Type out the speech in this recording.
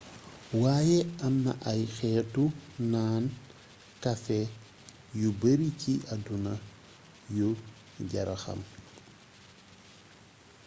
wayé amna ay xeetu naan kafé yu bari ci adduna yu jara xam